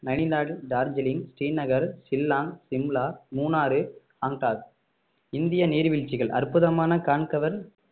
நைனிடால் டார்ஜிலிங் ஸ்ரீநகர் ஷில்லாங் சிம்லா மூணாறு காங்டாட் இந்திய நீர்வீழ்ச்சிகள் அற்புதமான கண்கவர்